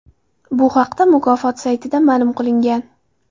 Bu haqda mukofot saytida ma’lum qilingan .